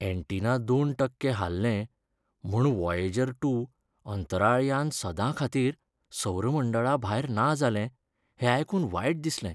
Antenna दोन टक्के हाल्लें म्हूण व्हॉयेजर टू, अंंतराळ यान सदां खातीर सौर मंडळाभायर ना जालें हें आयकून वायट दिसलें.